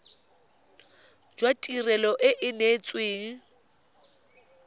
jwa tirelo e e neetsweng